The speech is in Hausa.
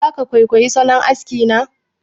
Za ka kwaikwayi salon aski na?